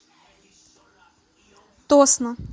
тосно